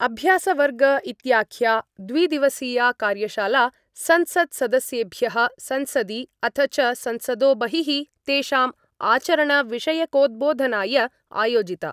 अभ्यासवर्ग इत्याख्या द्विदिवसीया कार्यशाला संसत्सदस्येभ्य संसदि अथ च संसदो बहिः तेषाम् आचरणविषयकोद्बोधनाय आयोजिता।